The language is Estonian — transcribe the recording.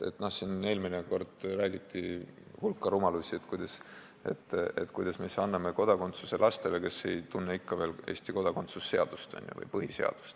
Eelmine kord räägiti siin hulka rumalusi sellest, et kuidas me ikka anname kodakondsuse lastele, kes ei tunne veel Eesti kodakondsuse seadust või põhiseadust.